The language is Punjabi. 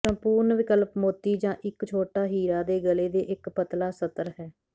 ਸੰਪੂਰਣ ਵਿਕਲਪ ਮੋਤੀ ਜਾਂ ਇੱਕ ਛੋਟਾ ਹੀਰਾ ਦੇ ਗਲੇ ਦੇ ਇੱਕ ਪਤਲਾ ਸਤਰ ਹੈ